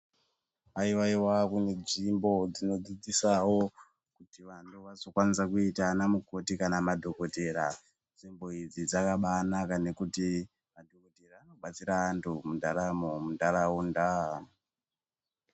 Aiwa iwa kune nzvimbo dzinodzidzisawo vanthu kuti vazokwanisa kuita vana mukoti kana madhokodhera nzvimbo idzi dzakambanaka ngokuti dzinobatsira anthu nendaramo muntaraunda.